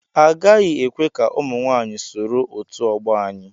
Agaghị ekwe ka ụmụ nwaanyị soro otu ọgbọ anyị.